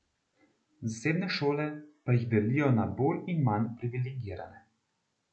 Zasebne šole pa jih delijo na bolj in manj privilegirane.